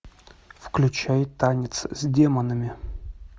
включай танец с демонами